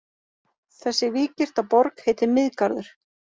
Þessi víggirta borg heitir Miðgarður.